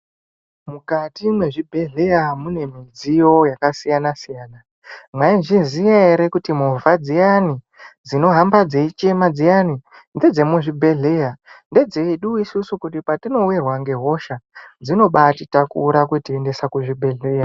Mukati mwezvibhehleya mune mudziyo yakasiyana siyana. Mwaizviziya ere kuti movha dziyani dzinohamba dzeichema dziyani ngedzemuzvibhehleya. Ndedzedu isusu kuti patinowirwa ngehosha dzinobaatitakura kutiendesa kuzvibhehleya.